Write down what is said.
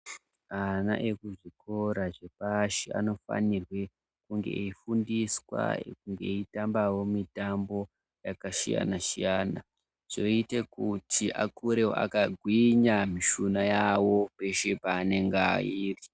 Ana ekuzvikora zvepashi anofanirwe kunge eifundiswa kunge eitambavo mitambo yakasiyana-siyana. Zvoite kuti akurevo akagwinya mishuna yavo peshe aanenge airi.